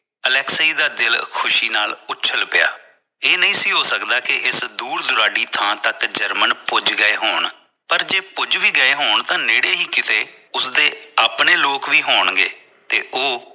Alexei ਦਾ ਦਿਲ ਖੁਸ਼ੀ ਨਾਲ ਉਛਲ ਪਿਆ ਇਹ ਨਹੀਂ ਸੀ ਹੋ ਸਕਦਾ ਇਸ ਦੂਰ ਦੁਰਾਲੀ ਥਾਂ ਤੱਕ ਜਰਮਨ ਪੁੱਜ ਗਏ ਹੋਣ ਪਰ ਜੇ ਪੁੱਜ ਵੀ ਗਏ ਹੋਣ ਤਾਂ ਨੇੜੇ ਹੀ ਕਿਥੇ ਉਸਦੇ ਆਪਣੇ ਲੋਕ ਵੀ ਹੋਣ ਗਏ ਤੇ ਉਹ